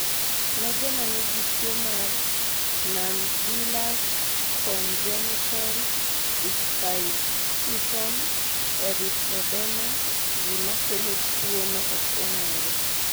Ne joma nigi tuo mar Nonbullous congenital ichthyosiform erythroderma gima kelo tuono ok ong'ere